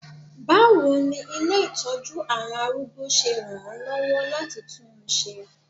Báwo ni ilé ìtọ́jú àwọn arúgbó ṣe ràn án lọ́wọ́ láti tún un ṣe?